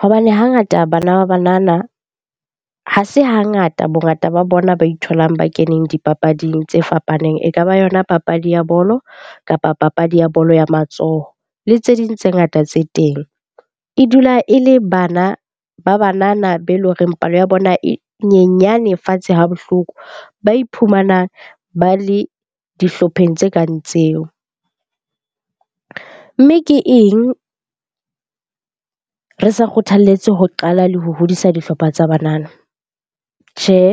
Hobane hangata bana ba banana ha se hangata bongata ba bona ba itholang ba keneng dipapading tse fapaneng. E ka ba yona papadi ya bolo, kapa papadi ya bolo ya matsoho le tse ding tse ngata tse teng. E dula e le bana ba banana be e leng horeng palo ya bona e nyenyane fatshe ha bohloko ba iphumanang ba le dihlopheng tse kang tseo. Mme ke eng re sa kgothaletswe ho qala le ho hodisa dihlopha tsa banana? Tjhehe,